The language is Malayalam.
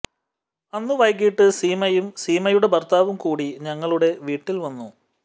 അന്ന് വൈകീട്ട് സീമയും സീമയുടെ ഭർത്താവും കൂടി ഞങ്ങളുടെ വീട്ടിൽ വന്നു